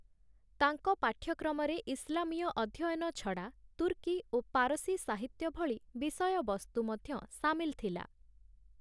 ତାଙ୍କ ପାଠ୍ୟକ୍ରମରେ ଇସଲାମୀୟ ଅଧ୍ୟୟନ ଛଡ଼ା ତୁର୍କୀ ଓ ପାରସୀ ସାହିତ୍ୟ ଭଳି ବିଷୟ ବସ୍ତୁ ମଧ୍ୟ ସାମିଲ ଥିଲା ।